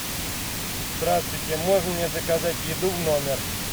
здравствуйте можно мне заказать еду в номер